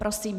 Prosím.